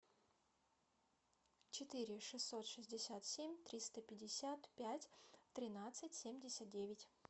четыре шестьсот шестьдесят семь триста пятьдесят пять тринадцать семьдесят девять